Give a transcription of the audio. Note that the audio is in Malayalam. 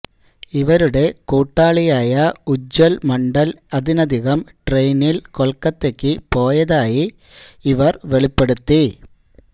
ഇവരുടെ കൂട്ടാളിയായ ഉജ്ജ്വല് മണ്ഡല് അതിനകം ട്രെയിനില് കൊല്ക്കത്തക്ക് പോയതായും ഇവര് വെളിപ്പെടുത്തി